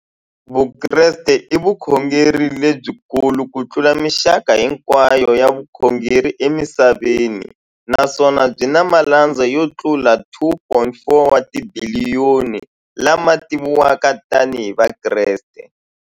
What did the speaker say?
Vukreste i vukhongeri lebyi kulu kutlula mixaka hinkwayo ya vukhongeri emisaveni, naswona byi na malandza yo tlula 2.4 wa tibiliyoni, la ma tiviwaka tani hi Vakreste.